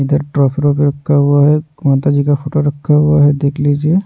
इधर भी रखा हुआ है माता जी का फोटो रखा हुआ है देख लीजिए--